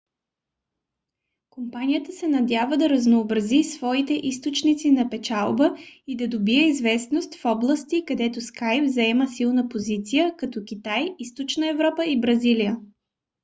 компанията се надява да разнообрази своите източници на печалба и да добие известност в области където skype заема силна позиция като китай източна европа и бразилия